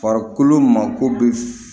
Farikolo mako bɛ